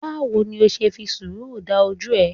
Báwo ni o ṣe fi ṣúsù dán ojú ẹ̀?